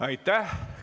Aitäh!